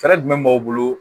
Fɛɛrɛ jumɛn b'aw bolo